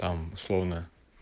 там словно